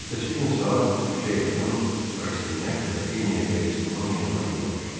Ertəsi gün saat üçə yaxın Rastinyak qrafinya de Restonun yanına yola düşdü.